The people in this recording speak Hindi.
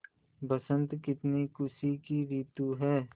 बसंत कितनी खुशी की रितु है